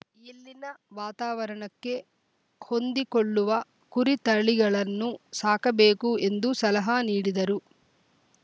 ಇಲ್ಲಿನ ವಾತವರಣಕ್ಕೆ ಹೊಂದಿಕೊಳ್ಳುವ ಕುರಿತಳಿಗಳನ್ನು ಸಾಕಬೇಕು ಎಂದು ಸಲಹ ನೀಡಿದರು